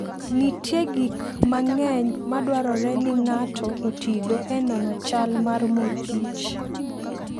Nitie gik mang'eny madwarore ni ng'ato otigo e nono chal mar mor kich.